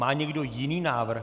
Má někdo jiný návrh?